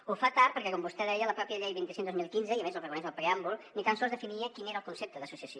ho fa tard perquè com vostè deia la pròpia llei vint cinc dos mil quinze i a més ho reconeix al preàmbul ni tan sols definia quin era el concepte d’associació